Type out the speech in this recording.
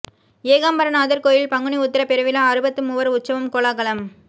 ஏகாம்பரநாதர் கோயில் பங்குனி உத்திரப் பெருவிழா அறுபத்து மூவர் உற்சவம் கோலாகலம்